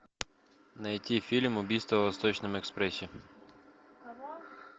найти фильм убийство в восточном экспрессе